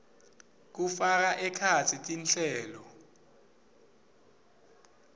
kufaka ekhatsi tinhlelo